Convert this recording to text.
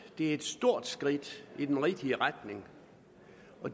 er et stort skridt i den rigtige retning